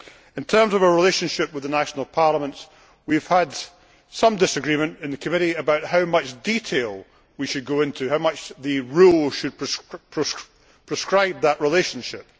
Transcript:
In terms of our relationship with the national parliaments, we have had some disagreement in the committee on how much detail we should go into, and how much the rules should prescribe that relationship.